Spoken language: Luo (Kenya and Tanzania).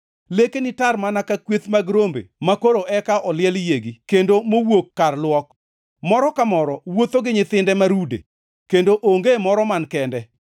Lekeni tar mana ka kweth mag rombe makoro eka oliel yiegi kendo mowuok kar luok. Moro ka moro wuotho gi nyithinde ma rude, kendo onge moro man kende.